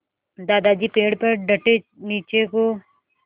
दादाजी पेड़ पर डटे नीचे को